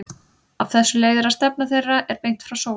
Af þessu leiðir að stefna þeirra er beint frá sól.